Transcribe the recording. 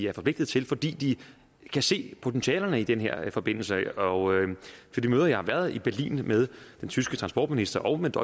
er forpligtet til fordi de kan se potentialerne i den her forbindelse og på de møder jeg har været til i berlin med den tyske transportminister og med